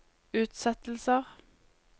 utsettelser